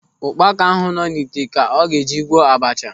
Ụkpaka ahụ nọ n'ite ka ọ ga-eji gwọọ abacha.